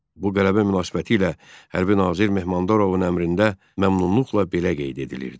Bu qələbə münasibətilə hərbi nazir Mehmandarovun əmrində məmnunluqla belə qeyd edilirdi.